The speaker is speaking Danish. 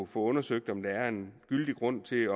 få undersøgt om der er en gyldig grund til